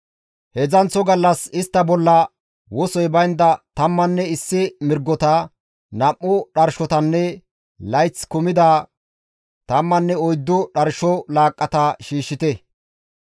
« ‹Heedzdzanththo gallas istta bolla wosoy baynda tammanne issi mirgota, nam7u dharshotanne layththi kumida tammanne oyddu dharsho laaqqata shiishshite.